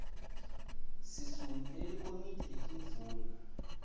sisungule likomiti letindvuna